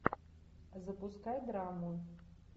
запускай драму